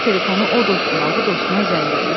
Götürüb telefonu o dostuna, bu dostuna zəng eləyir.